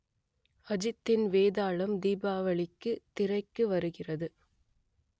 அஜித்தின் வேதாளம் தீபாவளிக்கு திரைக்கு வருகிறது